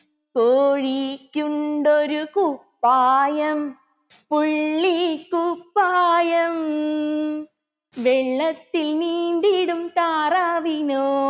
കോഴിക്കുണ്ടൊരു കുപ്പായം പുള്ളിക്കുപ്പായം വെള്ളത്തിൽ നീന്തിടും താറാവിനോ